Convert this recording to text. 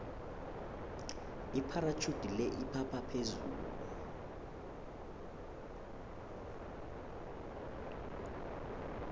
ipharatjhudi le iphapha phezulu